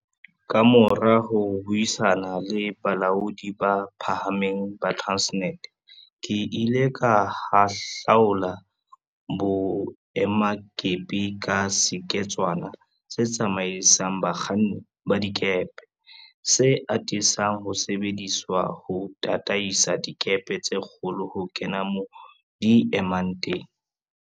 Kamora ho buisana le balaodi ba phahameng ba Transnet, ke ile ka hahlaula boemakepe ka seketswana se tsamaisang bakganni ba dikepe, se atisang ho sebediswa ho tataisa dikepe tse kgolo ho kena moo di emang teng.